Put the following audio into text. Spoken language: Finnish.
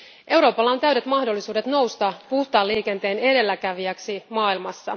Euroopalla on täydet mahdollisuudet nousta puhtaan liikenteen edelläkävijäksi maailmassa.